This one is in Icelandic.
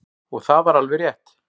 Og það var alveg rétt.